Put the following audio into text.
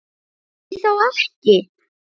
Því þá ekki?